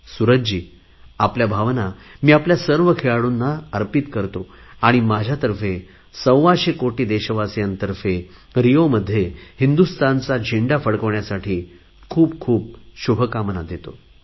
सूरजजी आपल्या भावना मी आपल्या सर्व खेळाडूंना अर्पित करतो आणि माझ्यातर्फे सव्वाशे कोटी देशवासियांतर्फे रिओमध्ये हिंदुस्थानचा झेंडा फडकवण्यासाठी खूप खूप शुभकामना देत आहे